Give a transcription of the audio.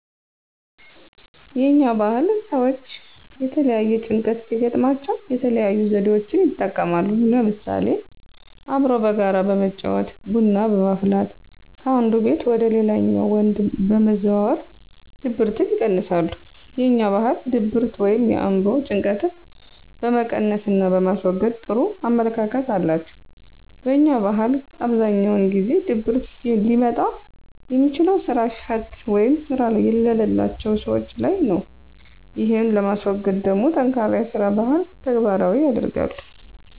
የኛ ባህል ሰወች የተለያየ ጭንቀት ሲገጥማቸው የተለያዩ ዘዴወችን ይጠቀማሉ ለምሳሌ፦ አብሮ በጋራ በመጫወት፣ ቡና በማፍላት ከአንዱ ቤት ወደ ሌላኛው ወንድ በመዘዋወር ድብርትን ይቀንሳሉ። የኛ ባህል ድብርት ወይም የአእምሮ ጭንቀጥን በመቀነስና በማስወገድ ጥሩ አመለካከት አላቸው። በኛ ባህል አብዛኛውን ጊዜ ድብርት ሊመጣ የሚችለው ስራ ፈት ወይም ስራ የለላቸው ሰወች ላይ ነው። ይህን ለማስወገድ ደሞ ጠንካራ የስራ ባህን ተግባራዊ ያደርጋሉ።